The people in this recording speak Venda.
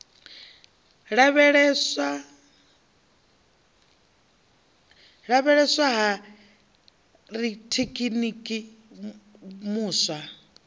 lavheieswa ha rathekiniki muswa o